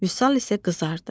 Vüsal isə qızardı